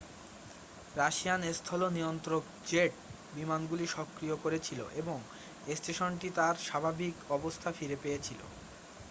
Russian স্থল নিয়ন্ত্রক jet বিমানগুলো সক্রিয় করেছিল এবং স্টেশনটি তার স্বাভাবিক অবস্থা ফিরে পেয়েছিল